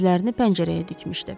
Gözlərini pəncərəyə dikmişdi.